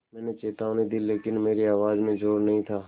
मैंने चेतावनी दी लेकिन मेरी आवाज़ में ज़ोर नहीं था